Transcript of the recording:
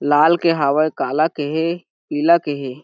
लाल के हावय काला के हे पीला के हे।